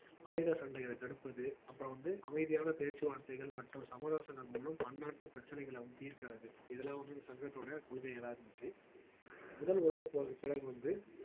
ஆயுத சண்டைகளை தடுப்பது அப்புறம் வந்து அமைதியான பேச்சுவார்த்தைகள் மற்றும் சமரசங்கள் மூலம் பன்னாட்டு பிரச்சனைகளை வந்து தீர்க்கிறது இதெல்லாம் வந்து இந்த சங்கத்தோட கொள்கைகளா இருந்துச்சு முதல் உலகப் போருக்குப் பிறகு வந்து